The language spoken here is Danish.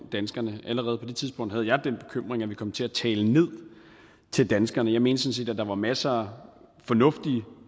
danskerne allerede på det tidspunkt havde jeg den bekymring at vi kom til at tale ned til danskerne jeg mente sådan set at der var masser af fornuftige